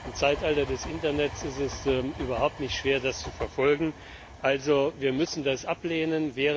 Im Zeitalter des Internets ist es überhaupt nicht schwer, das zu verfolgen. Also müssen wir das ablehnen.